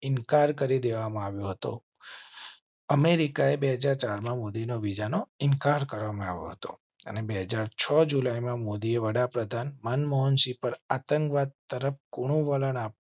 ઇન્કાર કરી દેવા માં આવ્યો હતો. અમેરિકાએ બે હાજર ચાર માં મોદી નો ઇન્કાર કર્યો હતો અને બે હાજર છ જુલાઈ માં મોદીએ વડાપ્રધાન મનમોહનસિંહ પર આતંકવાદ તરફ કુણુ વલણ આપના